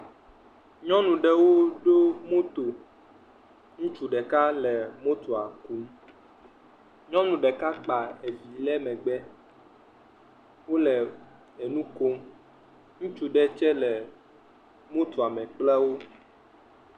Nyɔnuɖewo ɖo moto. Ŋutsu ɖeka le motoa kum. Nyɔnu ɖeka kpa vi ɖe megbe wole nu kom. Ŋutsu ɖe tsɛ le motoa me kple wo.